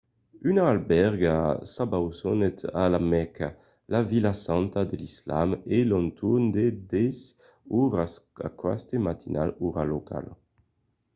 una albèrga s'abausonèt a la mèca la vila santa de l’islam a l'entorn de 10 oras aqueste matin ora locala